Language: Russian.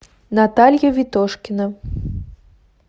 наталья витошкина